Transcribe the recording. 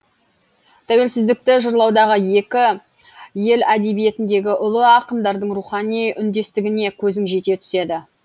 тәуелсіздікті жырлаудағы екі ел әдебиетіндегі ұлы ақындардың рухани үндестігіне көзің жете түседі